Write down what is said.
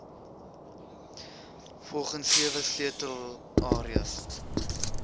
volgens sewe sleutelareas